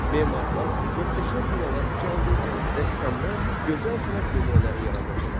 Memarlar möhtəşəm binalar ucaldır, rəssamlar gözəl sənət nümunələri yaradırdılar.